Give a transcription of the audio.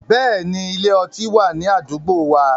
Bẹ́ẹ̀ni, ile- ọti wa ni adugbo wa